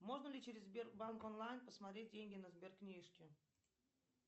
можно ли через сбербанк онлайн посмотреть деньги на сберкнижке